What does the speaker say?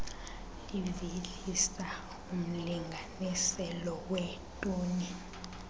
livelisa umlinganiselo weetoni